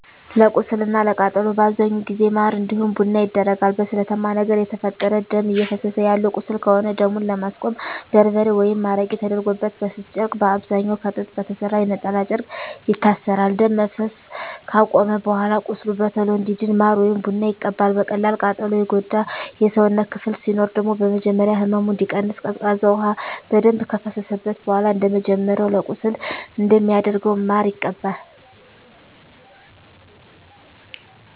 ለቁስል እና ለቃጠሎ በአብዛኛው ጊዜ ማር እንዲሁም ቡና ይደረጋል። በስለታማ ነገር የተፈጠረ ደም እፈሰሰ ያለው ቁስል ከሆነ ደሙን ለማስቆም በርበሬ ወይም አረቄ ተደርጎበት በስስ ጨርቅ በአብዛኛዉ ከጥጥ በተሰራ የነጠላ ጨርቅ ይታሰራል። ደም መፍሰስ አከቆመም በኃላ ቁስሉ በቶሎ እንዲድን ማር ወይም ቡና ይቀባል። በቀላል ቃጠሎ የጎዳ የሰውነት ክፍል ሲኖር ደግሞ በመጀመሪያ ህመሙ እንዲቀንስ ቀዝቃዛ ውሃ በደንብ ከፈሰሰበት በኃላ እንደመጀመሪያው ለቁስል እንደሚደረገው ማር ይቀባል።